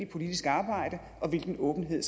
politisk arbejde og hvilken åbenhed